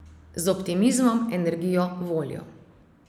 Z optimizmom, energijo, voljo.